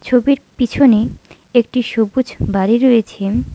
ছবির পিছনে একটি সবুজ বাড়ি রয়েছে।